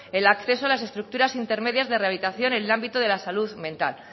el acceso a las estructuras intermedias de rehabilitación en el ámbito de la salud mental